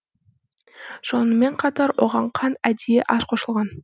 сонымен қатар оған қант әдейі аз қосылған